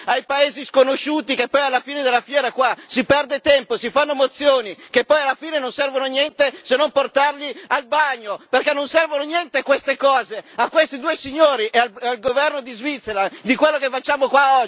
Che poi, alla fine della fiera, qua si perde tempo, si fanno proposte di risoluzione che poi alla fine non servono a niente se non a portarle al bagno, perché non servono a niente queste cose! A questi due signori e al governo dello Swaziland di quello che facciamo qua oggi non gliene frega un tubo!